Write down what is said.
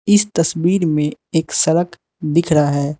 इस तस्वीर में एक सड़क दिख रहा है।